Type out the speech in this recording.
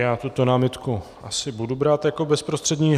Já tuto námitku asi budu brát jako bezprostřední.